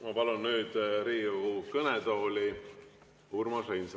Ma palun nüüd Riigikogu kõnetooli Urmas Reinsalu.